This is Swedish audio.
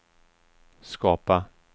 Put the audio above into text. skapa